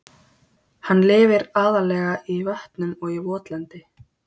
Hann lifir aðallega í vötnum og í votlendi.